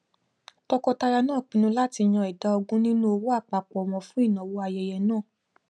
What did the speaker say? tọkọtaya náà pinnu láti yan ìdá ogún nínú owó àpapọ wọn fún ìnáwó ayẹyẹ náà